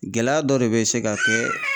Gɛlɛya dɔ de bɛ se ka kɛ